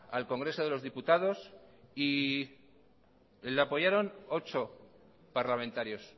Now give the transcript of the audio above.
al congreso de los diputados y le apoyaron ocho parlamentarios